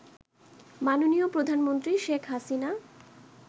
মাননীয় প্রধানমন্ত্রী শেখ হাসিনা